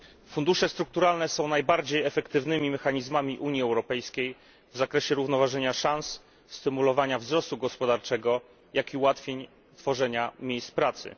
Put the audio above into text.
Fundusze strukturalne są najbardziej efektywnymi mechanizmami Unii Europejskiej w zakresie równoważenia szans, stymulowania wzrostu gospodarczego, jak i ułatwień w tworzeniu miejsc pracy.